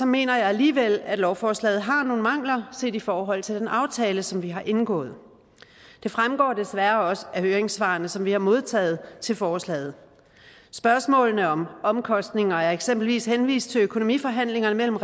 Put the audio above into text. mener jeg alligevel at lovforslaget har nogle mangler set i forhold til den aftale som vi har indgået det fremgår desværre også af høringssvarene som vi har modtaget til forslaget spørgsmålet om omkostninger er eksempelvis henvist til økonomiforhandlingerne mellem